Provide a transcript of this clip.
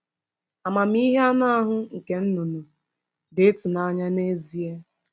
Amamihe anụ ahụ nke nnụnụ dị ịtụnanya nezie.